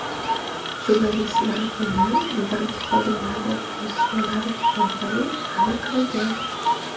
Jurnalistlar buni bank xodimlari yozishmalari orqali aniqlagan.